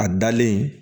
A dalen